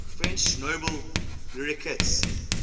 french nobel laureates